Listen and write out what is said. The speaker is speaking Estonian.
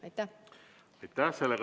Aitäh!